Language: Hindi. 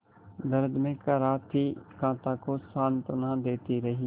दर्द में कराहती कांता को सांत्वना देती रही